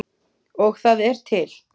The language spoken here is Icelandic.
Og það er til!